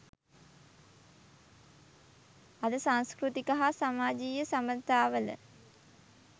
අද සංස්කෘතික හා සමාජයීය සබඳතාවල